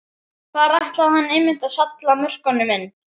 Þar ætlaði hann einmitt að salla mörkunum inn!